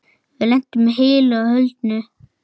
Við lentum heilu og höldnu.